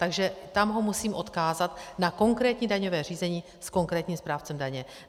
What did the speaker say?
Takže tam ho musím odkázat na konkrétní daňové řízení s konkrétním správcem daně.